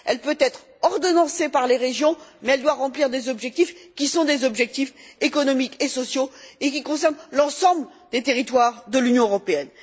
Elle peut être ordonnancée par les régions, mais elle doit remplir des objectifs qui sont des objectifs économiques et sociaux et qui concernent l'ensemble des territoires de l'Union européenne.